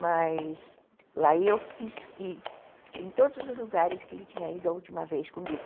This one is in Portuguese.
Mas aí eu quis ir em todos os lugares que ele tinha ido a última vez comigo.